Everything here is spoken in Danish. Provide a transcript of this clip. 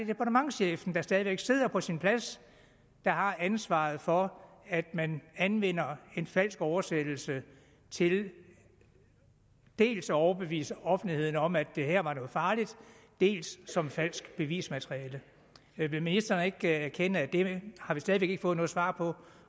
departementschefen der stadig væk sidder på sin plads der har ansvaret for at man anvender en falsk oversættelse til dels at overbevise offentligheden om at det her var noget farligt dels som falsk bevismateriale vil ministeren ikke erkende at det har vi stadig væk ikke fået noget svar på